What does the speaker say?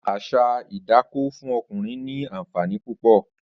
Àṣà idákó fùn ọkúnrìn ni ànfàní púpọ̀